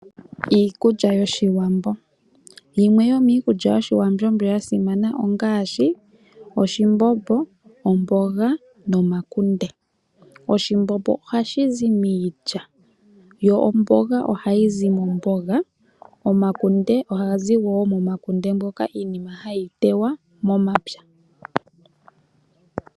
Iikulya yoshiwambo, yimwe yomiikulya yoshiwambo ndjoka yasimana ongaashi oshimbombo, omboga, nomakunde. Oshimbombo ohashizi miilya, omboga ohayizi momboga nomakunde ohagazi momakunde.